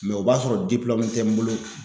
o b'a sɔrɔ tɛ n bolo